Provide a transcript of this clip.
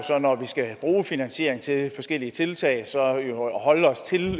når vi skal bruge finansiering til forskellige tiltag at holde os til